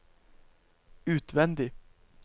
utvendig